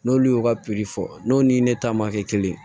N'olu y'u ka piri fɔ n'u ni ne ta ma kɛ kelen ye